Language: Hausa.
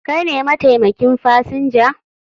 Kai ne mataimakin fasinja?